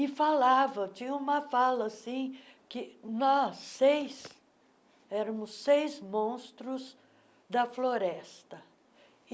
E falava tinha uma fala assim que nós seis éramos seis monstros da floresta.